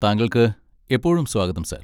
താങ്കൾക്ക് എപ്പോഴും സ്വാഗതം, സർ.